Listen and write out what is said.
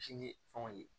Ji ni fɛnw ye